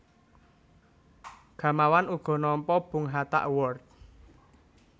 Gamawan uga nampa Bung Hatta Award